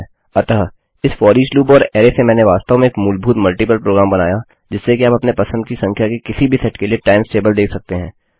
अतः इस for each loop और अरै से मैंने वास्तव में एक मूलभूत मल्टिपल प्रोग्राम बनाया जिससे कि आप अपने पसंद की संख्या के किसी भी सेट के लिए टाइम्स टेबल देख सकते हैं